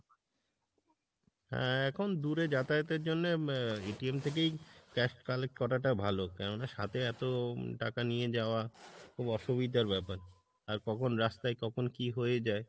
হ্যাঁ এখন দূরে যাতায়াতের জন্য আহ থেকেই cash collect করাটা ভালো কেননা সাথে এতো টাকা নিয়ে যাওয়া খুব অসুবিধার ব্যাপার, আর কখন রাস্তায় কখন কি হয়ে যায়